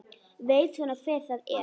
Veit svona hver það er.